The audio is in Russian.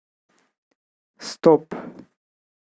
стоп